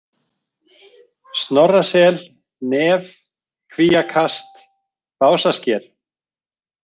Snorrasel, Nef, Kvíakast, Básasker